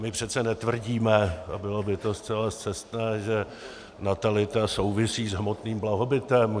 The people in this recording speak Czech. My přece netvrdíme, a bylo by to zcela scestné, že natalita souvisí s hmotným blahobytem.